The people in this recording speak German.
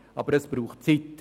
Aber es braucht Zeit.